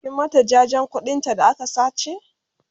kin mata jajen ƙuɗin ta da aka sace?